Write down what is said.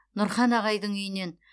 нұрхан ағайдың үйінен